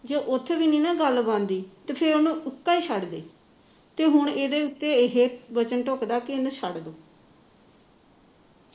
ਜੇ ਉੱਥੇ ਵੀ ਨਾ ਗੱਲ ਬਣਦੀ ਫੇਰ ਉਹਨੂੰ ਉਸ ਤਰਾ ਹੀ ਛੱਡ ਦੇ ਤੇ ਹੁਣ ਇਸਦੇ ਉੱਤੇ ਇਹੀ ਵਚਨ ਬੱਚਦਾ ਵੀ ਇਹਨੂੰ ਇਵੇ ਹੀ ਛੱਡ ਦੇ